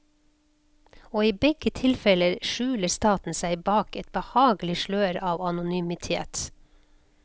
Og i begge tilfeller skjuler staten seg bak et behagelig slør av anonymitet.